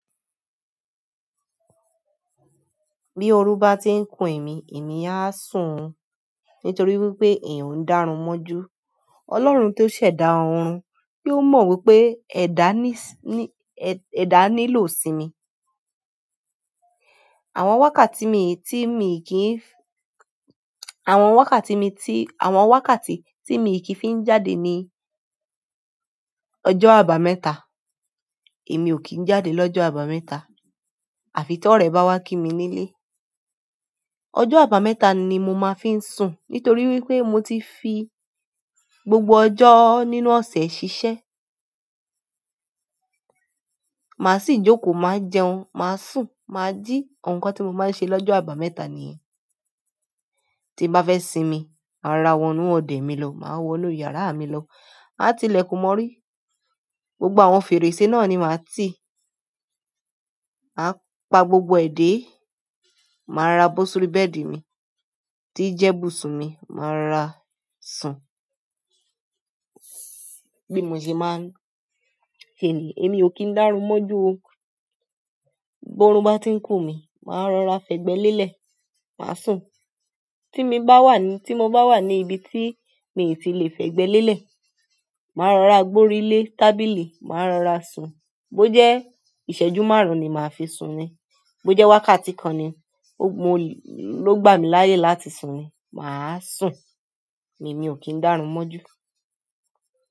Bí orun bá ti ń kùn èmi, èmi á sun nítorí wípé ẹ̀yàn ń dárun mọ́ ju. Ọlọ́run tó ṣẹ̀dá ọ̀run bí ó mọ wípé ẹ̀dá nílò ìsìnmi. Àwọn wákàtí tí mi kì í àwọn wákàtí tí mi kì í fi ń jáde ni ọjọ́ àbámẹ́ta. Èmi ò kí ń jáde lọ́jọ́ àbámẹ́ta àfi tí ọrẹ bá wá kí mi nílé. Ọjọ́ àbámẹ́ta ni mo máa fi ń sùn nítorí wípé mo ti fi gbogbo ọjọ́ nínú ọ̀sẹ̀ ṣiṣẹ́. Màá sì jókòó, màá jẹun, màá sùn, màá jí. Àwọn nǹkan tí mo máa ń ṣe lọ́jọ́ àbámẹ́ta nìyẹn. Tí bá fẹ́ sinmi, màá rora wọnú ọ̀dẹ̀ mi lọ, màá wọnú yàrá mi lọ. Àá ti ilẹ̀kùn mọrí. Gbogbo àwọn fèrèsé náà ni màá rti í. Màá pa gbogbo ẹ̀ dẹ̀, màá rora bọ́ sórí bẹ́ẹ̀dì mi tí i jẹ́ ibùsùn mi, màá rora sùn. Bí mo ṣe máa ń èmi ò kí i dárun mọ́ ju. Bó orub bá ti ń kùn mí, màá rọra fẹ̀gbẹ́ lélẹ̀, màá sùn. Tí mo bá wà ní ibi tí mi i tí lè fẹ̀gbẹ́ lélẹ̀, màá rọra gbórílé tábìlì, màá rọra sùn. Bó jẹ́ ìṣẹ́jú márùn-ún ni màá fi sùn ni, bó jẹ́ wákàtí kan ni ló gbà mí láyè láti sùn ni, mà á sùn. Èmi ò kí ń dárun mọ́ ju.